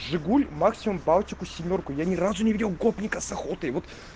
жигуль максимум балтику семёрку я ни разу не видел гопника с охоты